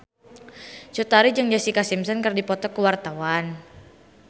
Cut Tari jeung Jessica Simpson keur dipoto ku wartawan